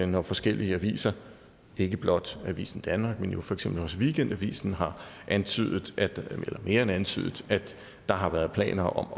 når forskellige aviser ikke blot avisen danmark men for eksempel også weekendavisen har antydet eller mere end antydet at der har været planer om at